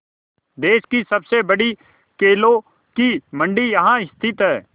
देश की सबसे बड़ी केलों की मंडी यहाँ स्थित है